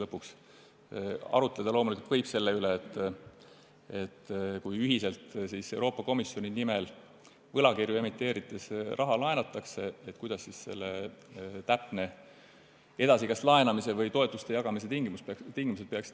Arutleda võib siin loomulikult selle üle, et kui ühiselt Euroopa Komisjoni nimel võlakirju emiteerides raha laenatakse, siis millised täpselt peaksid olema laenamise või toetuste jagamise tingimused.